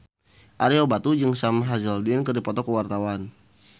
Ario Batu jeung Sam Hazeldine keur dipoto ku wartawan